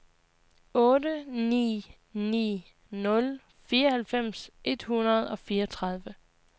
otte ni ni nul fireoghalvfems et hundrede og fireogtredive